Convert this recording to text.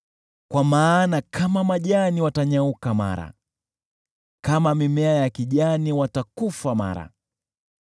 kwa maana kama majani watanyauka mara, kama mimea ya kijani watakufa mara.